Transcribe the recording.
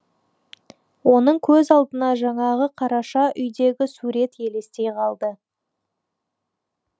оның көз алдына жаңағы қараша үйдегі сурет елестей қалды